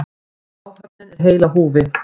Áhöfnin er heil á húfi